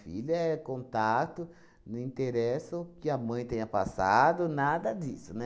Filho é contato, não interessa o que a mãe tenha passado, nada disso, né?